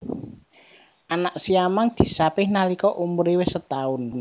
Anak siamang disapih nalika umure wis setaun